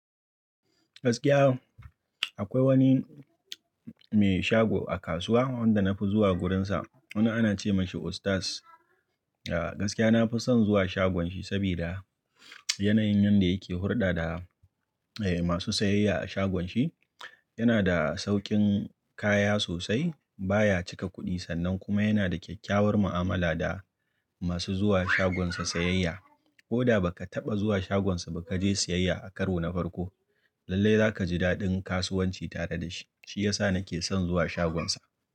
Gaskiya akwai wani mai shago a kasuwa wanda na fi zuwa wurinsa, wanda ana ce masa ustas. Ya gaskiya na fi son zuwa shagon shi saboda yanayin yanda yake hulɗa da eh masu sayayya a shagon shi. Yana da saukin kaya sosai, baya cika kuɗi sannan kuma yana da kyakkyawar mu'amala da masu zuwa shagonsa sayayya. Ko da ba ka taɓa zuwa shagonsa ba ka je sayayya a karo na farko, lallai za ka ji daɗin kasuwanci tare da shi. Shi ya sa na ke son zuwa shagonsa.